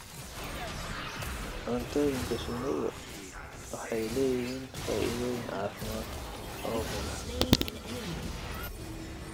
Cuntooyinka shinnidu waxay leeyihiin faa'iidooyin caafimaad oo badan.